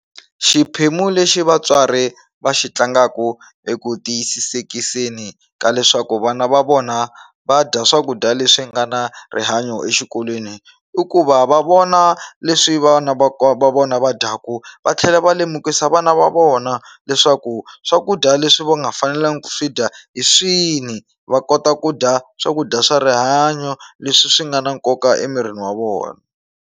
Xiphemu lexi vatswari va xi tlangaku eku tiyisisikiseni ka leswaku vana va vona va dya swakudya leswi nga na rihanyo exikolweni i ku va va vona leswi vana va va vona va dyaku va tlhela va lemukisa vana va vona leswaku swakudya leswi va nga fanelangi ku swi dya hi swini va kota ku dya swakudya swa rihanyo leswi swi nga na nkoka emirini wa vona.